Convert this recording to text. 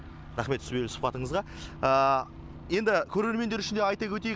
рақмет сұқпатыңызға енді көрермендер үшін де айта өтейік